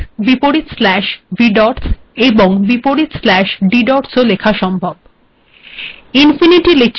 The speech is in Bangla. অনুরূপভােব \vdots এবং \ddots ও লেখা সম্ভব